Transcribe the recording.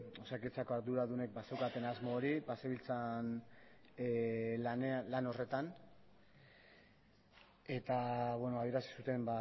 osakidetzako arduradunek bazeukaten asmo hori bazenbiltzan lan horretan eta adierazi zuten